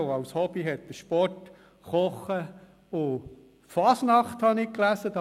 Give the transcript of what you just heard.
Seine Hobbys sind Sport, Kochen und Fasnacht, wie ich gelesen habe.